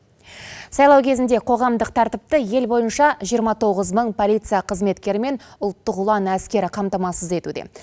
сайлау кезінде қоғамдық тәртіпті ел бойынша жиырма тоғыз мың полиция қызметкері мен ұлттық ұлан әскері қамтамасыз етуде